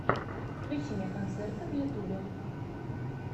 включи мне концерты в ютюбе